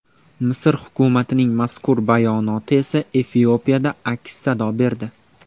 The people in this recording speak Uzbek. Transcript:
Misr hukumatining mazkur bayonoti esa Efiopiyada aks-sado berdi.